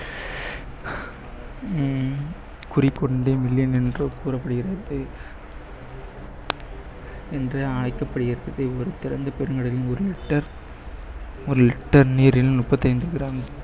உம் கூறப்படுகிறது என்று அழைக்கப்படுகிறது பெருங்கடலின் ஒரு liter ஒரு liter நீரில் முப்பத்தி ஐந்து gram